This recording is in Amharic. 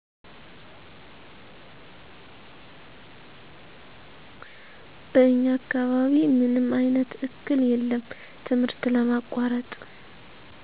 በኛ አካባቢ ምንም አይነት እክል የለም ትምህርት ለማቆረጥ